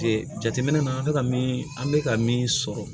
jateminɛ na an bɛ ka min an bɛ ka min sɔrɔ